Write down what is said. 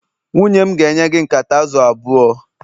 nwunye m ga-enye gị nkata azụ̀ abụọ